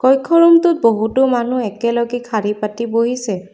কক্ষৰুমটোত বহুতো মানুহ একেলগে খাৰী পাতি বহিছে।